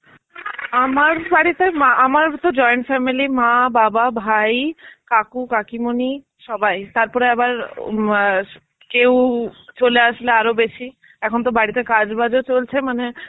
আমার বাড়িতে মা আমার তো join family মা, বাবা, ভাই, কাকু, কাকিমনি সবাই. তারপরে আবার ও ম য়া কেউ চলে আসলে আরো বেশী. এখন তো বাড়ীতে কাজ ফাজও চলছে মানে